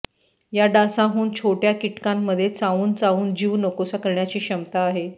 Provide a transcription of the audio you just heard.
या डासांहून छोटय़ा कीटकांमध्ये चावून चावून जीव नकोसा करण्याची क्षमता आहे